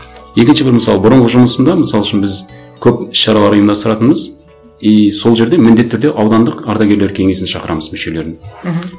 екінші бір мысал бұрынғы жұмысымда мысалы үшін біз көп шаралар ұйымдастыратынбыз и сол жерде міндетті түрде аудандық ардагерлер кеңесін шақырамыз мүшелерін мхм